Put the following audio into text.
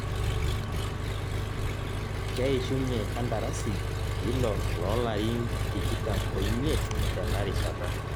keishunye kandarasi eilo loo larin tikitam omiet tenarishata.